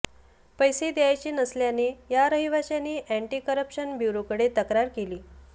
पैसे द्यायचे नसल्याने या रहिवाशाने अॅन्टी करप्शन ब्युरोकडे तक्रार केली